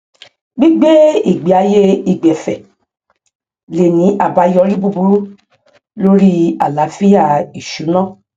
gbígbé ìgbéayé ìgbẹfẹ lè ní àbáyọrí búburú lórí àláfíà ìṣúná